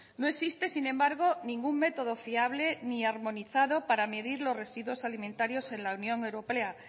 no existe sin embargo ningún método fiable ni armonizado para medir los residuos alimentarios en la unión europea